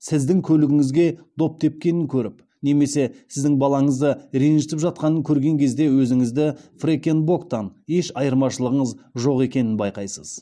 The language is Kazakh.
сіздің көлігіңізге доп тепкенін көріп немесе сіздің балаңызды ренжітіп жатқанын көрген кезде өзіңізді фрекен боктан еш айырмашылығыңыз жоқ екенін байқайсыз